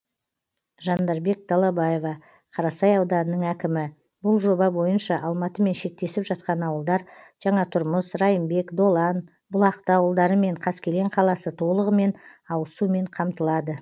жандарбек далабаева қарасай ауданының әкімі бұл жоба бойынша алматымен шектесіп жатқан ауылдар жаңатұрмыс райымбек долан бұлақты ауылдары мен қаскелең қаласы толығымен ауызсумен қамтылады